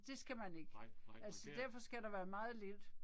Det skal man ikke. Altså derfor skal der være meget lidt